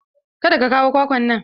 Kada ka kawo kwakwan nan!